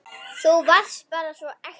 Þú varst bara svo ekta.